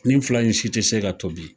Nin fila in si tɛ se ka tobi